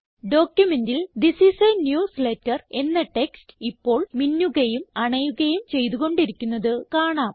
ഡോക്യുമെന്റിൽ this is a newsletter എന്ന text ഇപ്പോൾ മിന്നുകയും അണയുകയും ചെയ്തു കൊണ്ടിരിക്കുന്നത് കാണാം